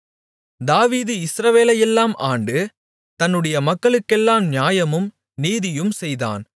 தாவீது இஸ்ரவேலையெல்லாம் ஆண்டு தன்னுடைய மக்களுக்கெல்லாம் நியாயமும் நீதியும் செய்தான்